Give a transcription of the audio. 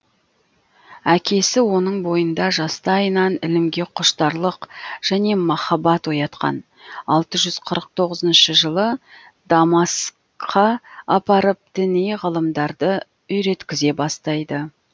әкесі оның бойында жастайынан ілімге құштарлық және махаббат оятқан алты жүз қырық тоғызыншы жылы дамаскқа апарып діни ғылымдарды үйреткізе бастайды